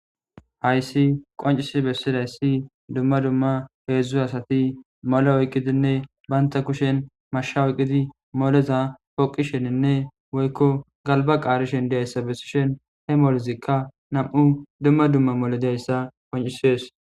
Hayiss qonccis bessizayissi dumma dumma hezdzdu asati moliya oyikkidinne banta kushshenni mashsha oyikkidi moleza poqishshenne woyikko galiba qarishshe dizayissa besishshenni de'ees.